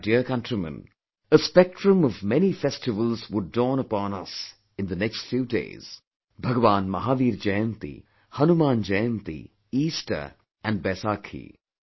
My dear countrymen, a spectrum of many festivals would dawn upon us in the next few days Bhagwan Mahavir Jayanti, Hanuman Jayanti, Easter and the Baisakhi